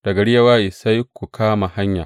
Da gari ya waye sai ku kama hanya.